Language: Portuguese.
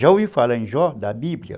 Já ouviu falar em Jó, da Bíblia?